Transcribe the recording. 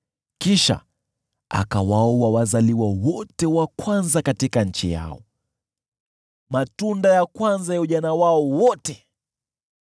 Kisha akawaua wazaliwa wote wa kwanza katika nchi yao, matunda ya kwanza ya ujana wao wote.